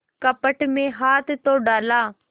कपट में हाथ तो डाला